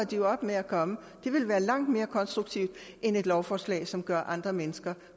de jo op med at komme det ville være langt mere konstruktivt end et lovforslag som gør andre mennesker